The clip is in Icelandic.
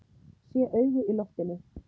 Sé augu í loftinu.